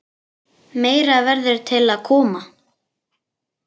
Meira verður til að koma.